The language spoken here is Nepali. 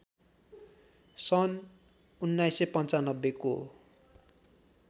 सन् १९९५ को